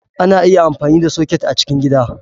Ana iya amfani da soket a cikin gida.